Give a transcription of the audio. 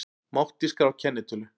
Mátti skrá kennitölu